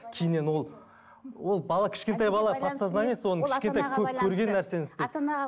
кейіннен ол ол бала кішентай бала подсознание соны кішкентай көп көрген нәрсені істейді ата анаға